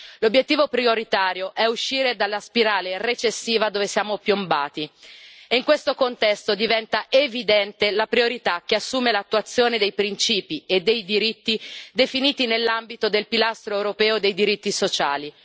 L'obiettivo prioritario è uscire dalla spirale recessiva dove siamo piombati, e in questo contesto diventa evidente la priorità che assume l'attuazione dei principi e dei diritti definiti nell'ambito del pilastro europeo dei diritti sociali.